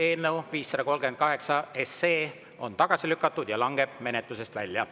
Eelnõu 538 on tagasi lükatud ja langeb menetlusest välja.